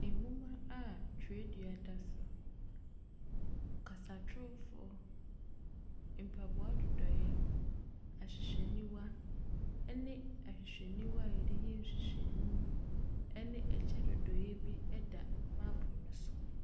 Nwoma a twerɛdua da so, kasatrofo, mpaboa dodoeɛ, ahwehwɛniwa ne ahwehwɛniwa yɛde yɛ nhwehwɛmu ne kyɛ dodoeɛ bi da mapono so.